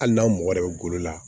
Hali n'an mɔgɔ yɛrɛ bɛ golo la